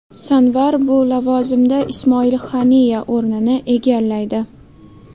Sanvar bu lavozimda Ismoil Haniya o‘rnini egallaydi.